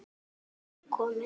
Mamma þín var ekki komin.